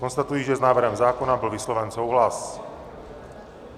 Konstatuji, že s návrhem zákona byl vysloven souhlas.